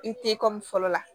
I te fɔlɔ la